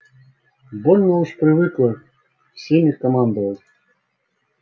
больно уж привыкла всеми командовать